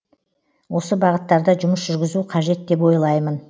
осы бағыттарда жұмыс жүргізу қажет деп ойлаймын